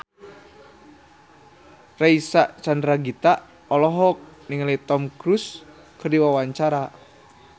Reysa Chandragitta olohok ningali Tom Cruise keur diwawancara